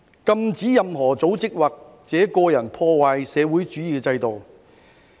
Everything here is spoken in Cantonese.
禁止任何組織或者個人破壞社會主義制度。